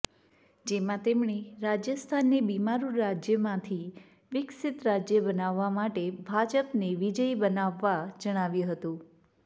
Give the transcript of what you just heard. જેમાં તેમણે રાજસ્થાનને બિમારુ રાજ્યમાંથી વિકસિત રાજ્ય બનાવવા માટે ભાજપને વિજયી બનાવવા જણાવ્યું હતું